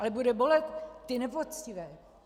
Ale bude bolet ty nepoctivé.